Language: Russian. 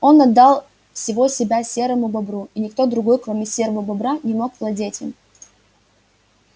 он отдал всего себя серому бобру и никто другой кроме серого бобра не мог владеть им